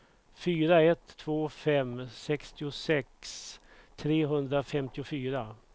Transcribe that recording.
fyra ett två fem sextiosex trehundrafemtiofyra